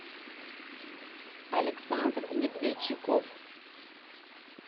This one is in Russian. александр медведчиков